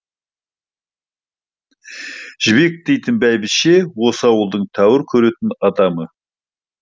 жібек дейтін бәйбіше осы ауылдың тәуір көретін адамы